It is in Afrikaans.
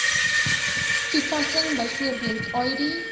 toepassing bv id